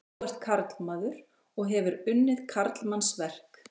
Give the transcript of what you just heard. Þú ert karlmaður og hefur unnið karlmannsverk.